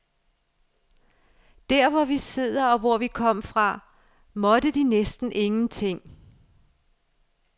Der, hvor vi sidder og hvor de to kom fra, måtte de næsten ingenting.